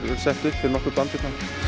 sett upp fyrir nokkuð band hérna